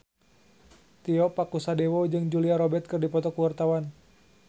Tio Pakusadewo jeung Julia Robert keur dipoto ku wartawan